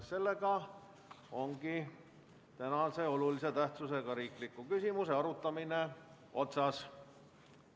Seega on tänase olulise tähtsusega riikliku küsimuse arutamine otsas.